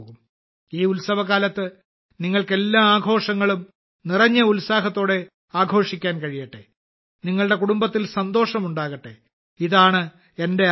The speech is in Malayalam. ഈ ഉത്സവകാലത്ത് നിങ്ങൾക്ക് എല്ലാ ആഘോഷങ്ങളും നിറഞ്ഞ ഉത്സാഹത്തോടെ ആഘോഷിക്കാൻ കഴിയട്ടെ നിങ്ങളുടെ കുടുംബത്തിൽ സന്തോഷം ഉണ്ടാകട്ടെ ഇതാണ് എന്റെ ആഗ്രഹം